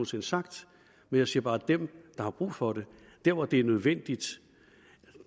sinde sagt men jeg siger bare at dem der har brug for det der hvor det er nødvendigt